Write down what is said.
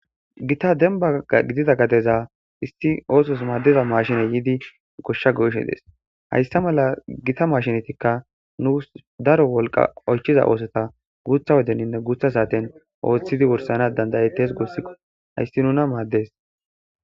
Gita dembba diza gadeza oososu maadiza maashshiney yiidi ekkidi goshsha goyishe dees. Hayssa mala gita maashshinetikka nuusu daro wolqa oychchiza oosota guuththa wodeninne guuththa saaten ooththidi wurssanas danda'ettes guussiko, hayssi nuna maaddes.